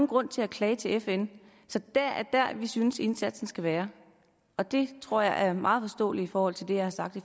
grund til at klage til fn så det er der vi synes indsatsen skal være og det tror jeg er meget forståeligt i forhold til det jeg har sagt i